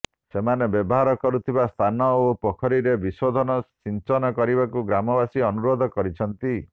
ସେମାନେ ବ୍ୟବହାର କରିଥିବା ସ୍ଥାନ ଓ ପୋଖରିରେ ବିଶୋଧନ ସିଞ୍ଚନ କରିବାକୁ ଗ୍ରାମବାସୀ ଅନୁରୋଧ କରିଛନ୍ତି